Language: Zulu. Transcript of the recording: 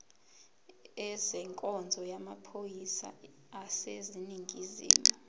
ezenkonzo yamaphoyisa aseningizimu